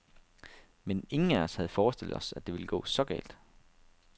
Men ingen af os havde forestillet os, at det ville gå så galt.